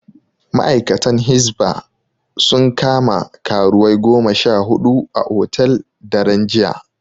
Ma'aikatan Hisba sun kama karuwai goma sha huɗu a hotel, daren jiya.